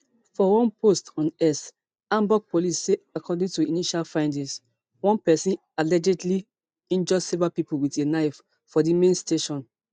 for one post on x hamburg police say according to initial findings one pesin allegedly injure several pipo wit a knife for di main station